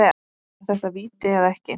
Var þetta víti eða ekki?